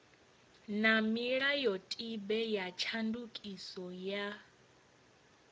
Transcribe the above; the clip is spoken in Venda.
na milayotibe ya tshandukiso ya